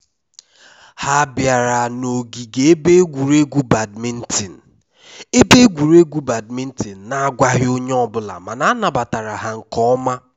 ha biara na ogige ebe egwuruegwu badminton ebe egwuruegwu badminton na agwaghị onye ọ bụla mana a nabatara ha nke ọma